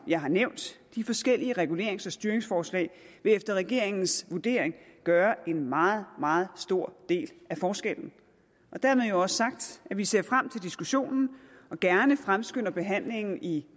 jeg har nævnt de forskellige regulerings og styringsforslag vil efter regeringens vurdering gøre en meget meget stor del af forskellen dermed jo også sagt at vi ser frem til diskussionen og gerne fremskynder behandlingen i